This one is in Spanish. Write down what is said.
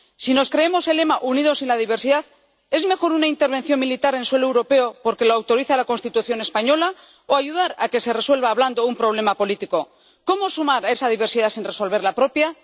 Si nos creemos el lema Unidos en la diversidad, ¿es mejor una intervención militar en suelo europeo, porque lo autoriza la Constitución española, o ayudar a que se resuelva hablando un problema político? ¿Cómo sumar esa diversidad sin resolver la propia?